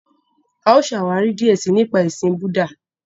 A ó ṣàwári díẹ sii nípa ẹṣin Búúdà.